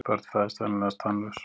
Börn fæðast venjulegast tannlaus.